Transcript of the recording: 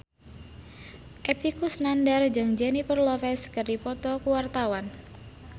Epy Kusnandar jeung Jennifer Lopez keur dipoto ku wartawan